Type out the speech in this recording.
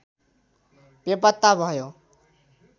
बेपत्ता भयो